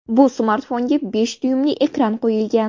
Bu smartfonga besh dyuymli ekran qo‘yilgan.